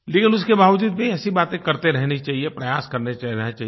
लेकिन उसके बावजूद भी ऐसी बातें करते रहनी चाहिए प्रयास करते रहना चाहिए